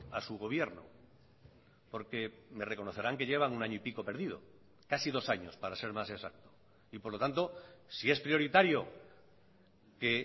a su gobierno porque me reconocerán que llevan un año y pico perdido casi dos años para ser más exacto y por lo tanto si es prioritario que